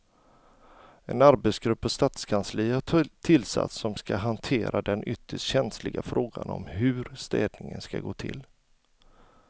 En arbetsgrupp på stadskansliet har tillsatts som ska hantera den ytterst känsliga frågan om hur städningen ska gå till.